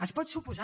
es pot suposar